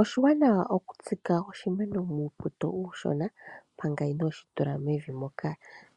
Oshiwanawa oku tsika oshimeno muupoto uushona mpanga inoshi tula mevi moka